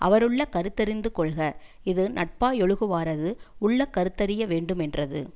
அவருள்ளக் கருத்தறிந்து கொள்க இது நட்பாயொழுகுவாரது உள்ளக்கருத்தறிய வேண்டு மென்றது